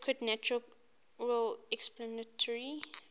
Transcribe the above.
adequate natural explanatory